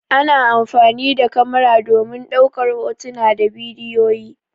Ana amfani da kamara domin ɗaukar hotuna da bidiyoyi.